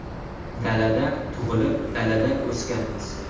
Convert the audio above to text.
Dalada tug‘ilib, dalada o‘sganmiz.